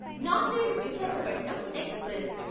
Nanded Visakhapatnam express